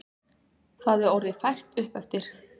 Það er orðið fært uppeftir.